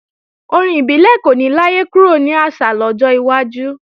Orin ibile kò ní láyé kúrò ní àṣà lọ́jọ́ iwájú